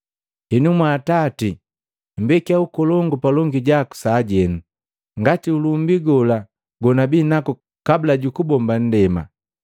Henu mwa Atati mmbekya ukolongu palongi jaku sajenu, ngati ulumbi gola gonabii naku kabula jukubomba ndema.”